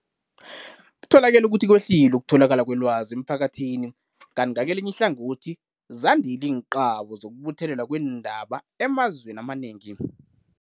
Kutholakele ukuthi kwehlile ukutholakala kwelwazi emphakathi kanti ngakelinye ihlangothi zandile iinqabo zokubuthelelwa kweendaba emazweni amanengi.